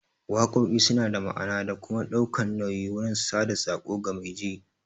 Waƙoƙi suna da ma'ana da kuma ɗaukan nauyi wurin sada tsako ga mai ji